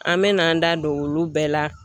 An me n'an da don olu bɛɛ la.